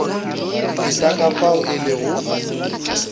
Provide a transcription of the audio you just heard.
feta ka fao e lego